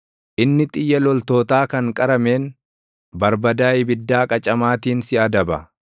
Inni xiyya loltootaa kan qarameen, barbadaa ibiddaa qacamaatiin si adaba.